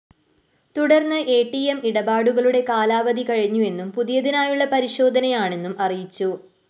തുടര്‍ന്ന് ATM ഇടപാടുകളുടെ കാലാവധി കഴിഞ്ഞുവെന്നും പുതിയതിനായുള്ള പരിശോധനയാണെന്നും അറിയിച്ചു